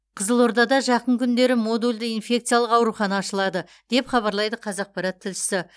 қызылордада жақын күндері модульді инфекциялық аурухана ашылады деп хабарлайды қазақпарат тілшісі